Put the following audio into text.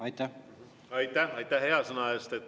Aitäh hea sõna eest!